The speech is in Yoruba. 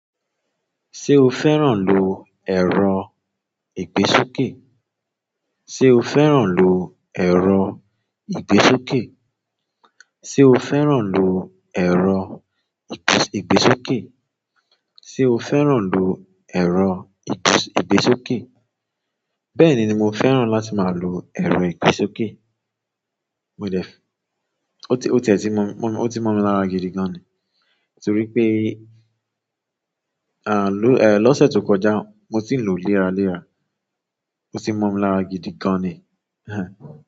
Ṣé o fẹ́ràn lo ẹ̀rọ ìgbésókè? Ṣé o fẹ́ràn lo ẹ̀rọ ìgbésókè? Ṣé o fẹ́ràn lo ẹ̀rọ ìgbésókè? Ṣé o fẹ́ràn lo ẹ̀rọ ìgbésókè? Bẹ́ẹ̀ni, mi ò fẹ́ràn láti máa lo ẹ̀rọ ìgbésókè. Mo dẹ, o ti ẹ̀ ti mọmi, o ti mọmi lára gidi gan ni. Nítorí pé, ah, ló, eh, lọ́sẹ̀ tó kọjá mo sì ń lo léra léra. Ó sì ń mọmi lára gidi gan ni, ẹẹ́.